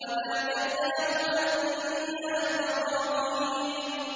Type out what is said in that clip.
وَنَادَيْنَاهُ أَن يَا إِبْرَاهِيمُ